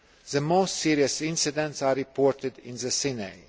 The most serious incidents are reported in the Sinai.